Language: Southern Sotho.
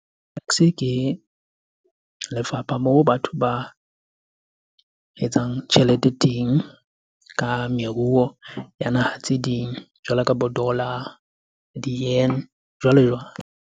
Ke lefapha moo batho ba etsang tjhelete teng ka meruo ya naha tse ding. Jwalo ka bo dollar, jwalo jwalo.